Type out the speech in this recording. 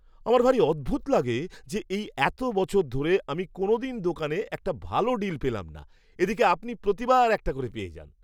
আমার ভারী অদ্ভুত লাগে যে এই এতো বছর ধরে আমি কোনোদিন দোকানে একটা ভালো ডিল পেলাম না এদিকে আপনি প্রতিবার একটা করে পেয়ে যান!